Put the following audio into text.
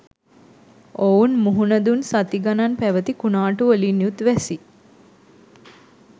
ඔවුන් මුහුණ දුන් සති ගණන් පැවති කුණාටු වලින් යුත් වැසි